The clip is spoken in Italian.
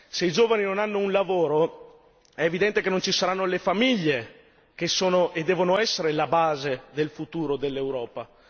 Se i giovani non hanno un lavoro è evidente che non ci saranno le famiglie, che sono e devono essere la base del futuro dell'Europa.